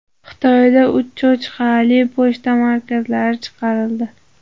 Xitoyda uch cho‘chqachali pochta markalari chiqarildi.